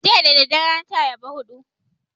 Jiya dadadare na ci ayaba hudu